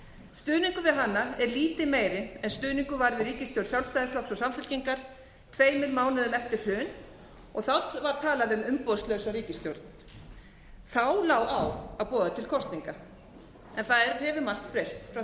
stuðningur við hana er lítið meiri en stuðningur var við ríkisstjórn sjálfstæðisflokks og samfylkingar tveimur mánuðum eftir hrun var talað um umboðslausa ríkisstjórn þá lá á að boða til kosninga en það hefur margt breyst frá